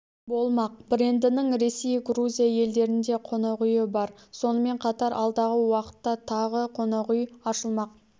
болмақ брендінің ресей грузия елдерінде қонақ үйі бар сонымен қатар алдағы уақытта тағы қонақүй ашылмақ